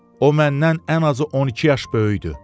O məndən ən azı 12 yaş böyükdür.